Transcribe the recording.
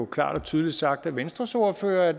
klart og tydeligt sagt af venstres ordfører at